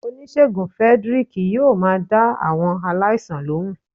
Onisegún Fredrick yóò má dá awọn aláísàn lohún.